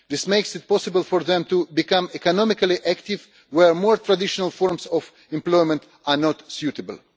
This makes it possible for them to become economically active where more traditional forms of employment are not suitable.